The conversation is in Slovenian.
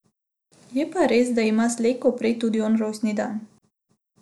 Je pa res, da ima slej ko prej tudi on rojstni dan.